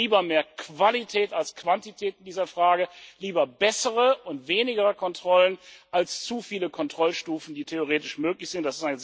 kann. Darum lieber mehr Qualität als Quantität in dieser Frage, lieber bessere und weniger Kontrollen als zu viele Kontrollstufen, die theoretisch möglich